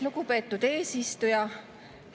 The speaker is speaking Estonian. Lugupeetud eesistuja!